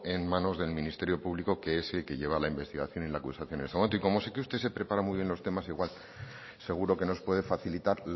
en manos del ministerio público que es el que lleva la investigación y la acusación en este momento y como sé que usted se prepara muy bien los temas igual seguro que nos puede facilitar